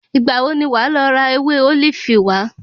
Ìgbà wo ni wàá lọ ra ewé ólífì wá?